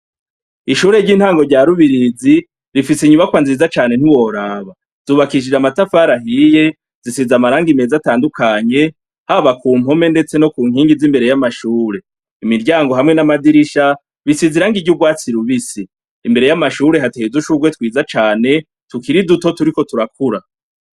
Ishure ry'intango rya rubirizi rifise inyubakwa nziza cane ntuworaba zubakishije amatafari ahiye zisize amarangi meza atandukanye haba ku mpome, ndetse no ku nkingi z'imbere y'amashure imiryango hamwe n'amadirisha bisize irangi kiry’urwatsi rubisi imbere y'amashure hatehizushurwe twiza cane tukiri duto turiko tukura.